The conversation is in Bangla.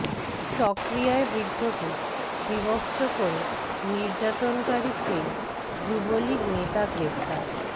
চকরিয়ায় বৃদ্ধকে বিবস্ত্র করে নির্যাতনকারী সেই যুবলীগ নেতা গ্রেপ্তার